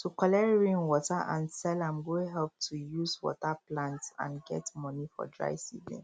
to collect rain water and sell am go help to use water plants and get money for dry season